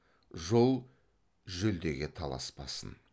жол жүлдеге таласпасын